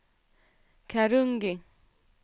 Karungi